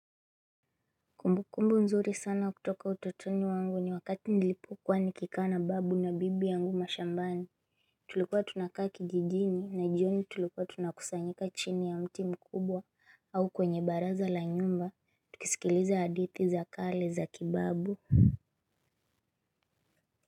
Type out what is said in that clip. Kumbu kumbu nzuri sana kutoka utotoni wangu ni wakati nilipokuwa nikikaa na babu na bibi yangu mashambani. Tulikuwa tunakaa kijijini na jioni tulikuwa tunakusanyika chini ya mti mkubwa au kwenye baraza la nyumba tukisikiliza hadithi za kale za kibabu.